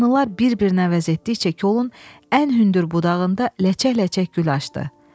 Mahnılar bir-birinə əvəz etdikcə kolun ən hündür budağında ləçək-ləçək gül açdı.